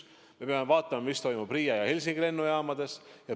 Me peame vaatama, mis toimub Riia ja Helsingi lennujaamas.